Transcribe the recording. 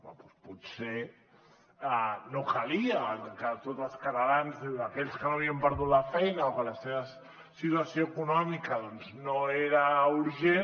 bé potser no calia que tots els catalans aquells que no havien perdut la feina o que la seva situació econòmica doncs no era urgent